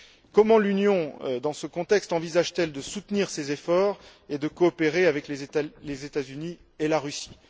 Comment l'Union, dans ce contexte, envisage t elle de soutenir ces efforts et de coopérer avec les États Unis et la Russie?